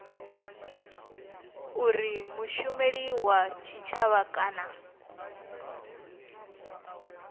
uri mushumeli wa tshitshavha kana